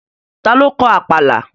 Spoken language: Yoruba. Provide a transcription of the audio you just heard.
Ta ló kọ Àpàlà?